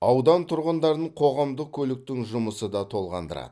аудан тұрғындарын қоғамдық көліктің жұмысы да толғандырады